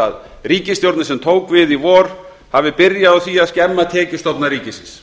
að ríkisstjórnin sem tók við í vor hafi byrjað á því að skemma tekjustofna ríkisins